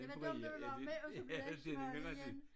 Det var dem der ville være med og så bliver den smal igen